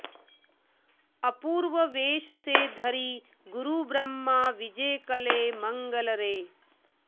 अपूर्व वेश से धरि गुरुब्रह्म विजे कले मंगलरे